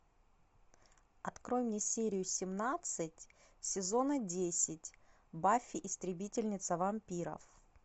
открой мне серию семнадцать сезона десять баффи истребительница вампиров